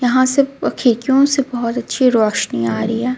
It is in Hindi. यहां सब खिड़कियों से बहुत अच्छी रोशनी आ रही है.